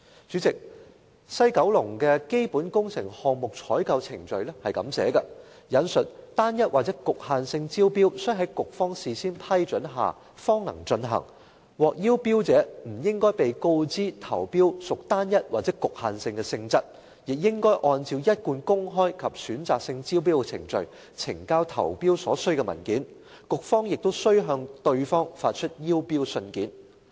主席，西九管理局的《基本工程項目採購程序》寫明，"單一或局限性招標須在局方事先批准下方能進行，獲邀標者不應被告知投標屬單一或局限性的性質，亦應按照一貫公開及選擇性招標的程序，呈交投標所須文件，局方亦須向對方發出邀標信件"。